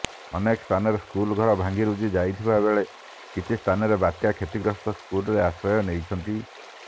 ଅନେକ ସ୍ଥାନରେ ସ୍କୁଲ ଘର ଭାଙ୍ଗିରୁଜି ଯାଇଥିବା ବେଳେ କିଛି ସ୍ଥାନରେ ବାତ୍ୟା କ୍ଷତିଗ୍ରସ୍ତ ସ୍କୁଲରେ ଆଶ୍ରୟ ନେଇଛନ୍ତି